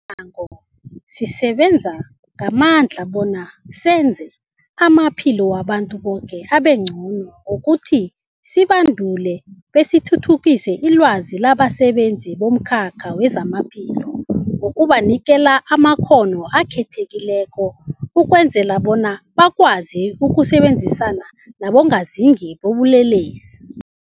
ango, sisebenza ngamandla bona senze amaphilo wabantu boke abengcono ngokuthi sibandule besithuthukise ilwazi labasebenzi bomkhakha wezamaphilo ngokubanikela amakghono akhethekileko ukwenzela bona bakwazi ukusebenzisana nabongazimbi bobulelesi.